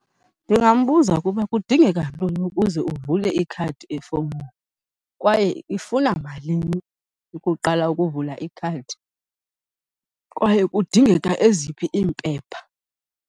Ndingambuza ukuba kudingeka ntoni ukuze uvule ikhadi efowunini kwaye ifuna malini ukuqala ukuvula ikhadi, kwaye kudingeka eziphi iimpepha.